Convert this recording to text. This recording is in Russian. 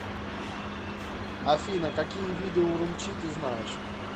афина какие виды урумчи ты знаешь